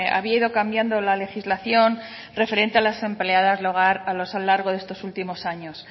había ido cambiando la legislación referente a las empleadas de hogar a lo largo de estos últimos años